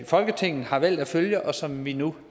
folketinget har valgt at følge og som vi nu